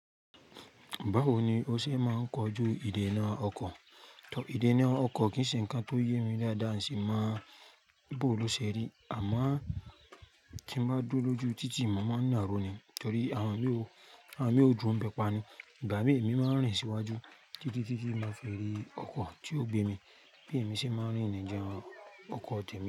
Báwo ni ó ṣe máa ń kojú ìdènà ọkọ̀? Ìdènà ọkọ̀ kì í ṣe ǹkan tó yẹ mí dáadáa sì máa ń bò lóṣe rí. Àmọ́ kí n bá dúró lójú títì, mo máa ń na ìró ni torí àwọn mi oo, àwọn mi oo duro bẹ pá ni. Ìgbà mìíràn, èmi máa ń rìn síwájú títí tí mo fé rí ọkọ̀ tí ó gbé mi bí èmi ṣe máa ń rí níjà ọkọ̀ tèmi.